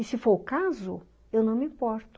E se for o caso, eu não me importo.